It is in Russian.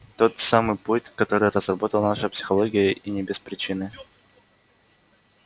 тот самый путь который разработала наша психология и не без причины